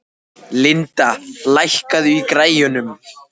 Linda, lækkaðu í græjunum.